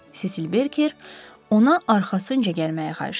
Sesil Berker ona arxasınca gəlməyi xahiş edib.